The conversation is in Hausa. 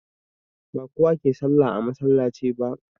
Ba kowa ke sallah a masallaci ba